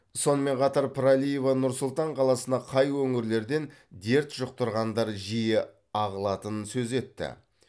сонымен қатар пірәлиева нұр сұлтан қаласына қай өңірлерден дерт жұқтырғандар жиі ағылатынын сөз етті